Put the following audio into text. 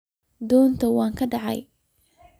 Donta way kacde.